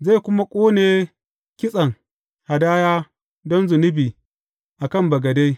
Zai kuma ƙone kitsen hadaya don zunubi a kan bagade.